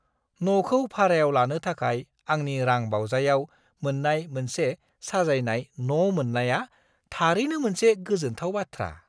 न'खौ भारायाव लानो थाखाय आंनि रां बावजायाव मोन्नाय मोनसे साजायजानाय न' मोन्नाया थारैनो मोनसे गोजोनथाव बाथ्रा!